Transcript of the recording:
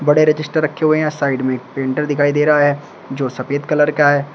बड़े रजिस्टर रखे हुए हैं आ साइड में एक प्रिंटर दिखाई दे रहा है जो सफेद कलर का है।